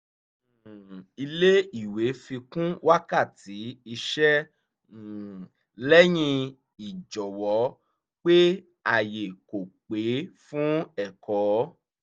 um ilé ìwé fi kún wákàtí iṣẹ́ um lẹ́yìn ìjọwọ́ pé ààyè kò pé fún ẹ̀kọ́